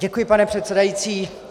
Děkuji, pane předsedající.